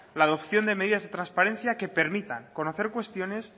la adopción de medidas de transparencia que permita conocer cuestiones